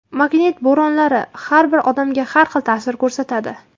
Magnit bo‘ronlari har bir odamga har xil ta’sir ko‘rsatadi.